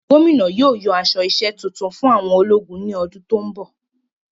Gómìnà yóò yan aṣọ isẹ́ tuntun fún àwọn ológun ní ọdún tó n bọ